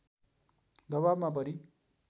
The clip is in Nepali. दवाबमा परी